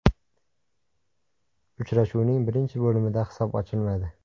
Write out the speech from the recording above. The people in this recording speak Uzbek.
Uchrashuvning birinchi bo‘limida hisob ochilmadi.